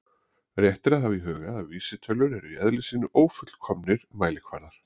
Rétt er að hafa í huga að vísitölur eru í eðli sínu ófullkomnir mælikvarðar.